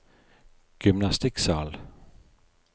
gymnastikksal